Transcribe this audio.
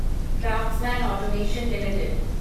craftsman automation limited